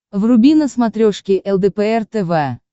вруби на смотрешке лдпр тв